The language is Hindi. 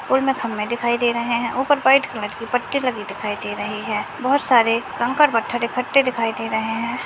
खंभे दिखाई दे रहे हैं ऊपर व्हाइट कलर के पट्टी लगी दिखाई दे रही है बहोत सारे कंकड़-पत्थर इकट्ठे दिखाई दे रहे हैं।